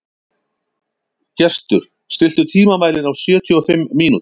Gestur, stilltu tímamælinn á sjötíu og fimm mínútur.